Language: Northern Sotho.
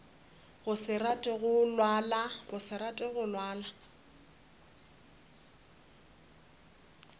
go se rate go lalwa